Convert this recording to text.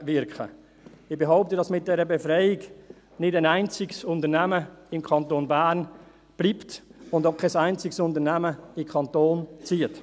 Ich behaupte, dass wegen dieser Befreiung nicht ein einziges Unternehmen im Kanton Bern bleibt, und auch kein einziges Unternehmen in den Kanton zieht.